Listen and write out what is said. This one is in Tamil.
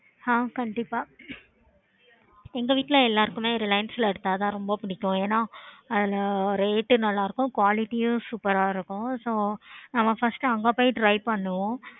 ஆஹ் கண்டிப்பா எங்க வீட்ல எல்லாருக்குமே reliance ல எடுத்தா தா ரொம்ப புடிக்கும் ஏன்னா அதுல rate உம் நல்லா இருக்கும் quality உம் நல்லா இருக்கும் நம்ம first அங்க போய் try பண்ணுவோம்